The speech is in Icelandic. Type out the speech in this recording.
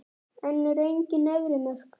En eru engin efri mörk?